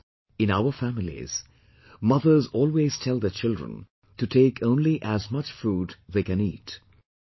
As it is, in our families, mothers always tell their children to take only as much food they can eat